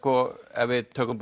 ef við tökum